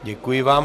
Děkuji vám.